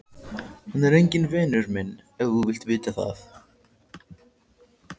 Hann er enginn vinur minn ef þú vilt vita það.